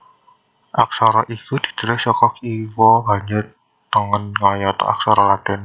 Aksara iku ditulis saka kiwa banjur tengen kayata aksara Latin